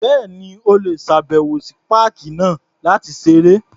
Bẹ́ẹ̀ni. O lè ṣàbẹ̀wò sí páàkì náà láti ṣeré.